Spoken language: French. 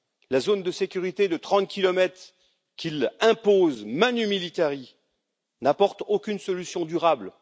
La zone de sécurité de 30 kilomètres qu'il impose, manu militari, n'apporte aucune solution durable.